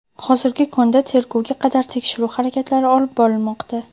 hozirgi kunda tergovga qadar tekshiruv harakatlari olib borilmoqda.